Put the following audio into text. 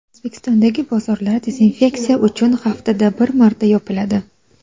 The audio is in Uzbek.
O‘zbekistondagi bozorlar dezinfeksiya uchun haftada bir marta yopiladi.